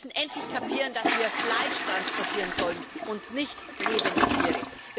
Wir müssen endlich kapieren, dass wir Fleisch transportieren sollen und nicht lebende Tiere.